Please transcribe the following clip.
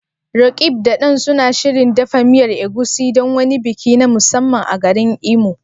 Roqeeb da Dan suna shirin dafa miyar Egusi don wani biki na musamman a garin Imo?